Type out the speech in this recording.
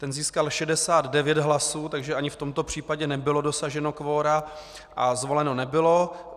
Ten získal 69 hlasů, takže ani v tomto případě nebylo dosaženo kvora a zvoleno nebylo.